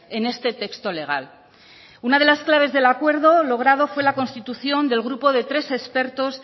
en este texto legal una de las claves del acuerdo logrado fue la constitución del grupo de tres expertos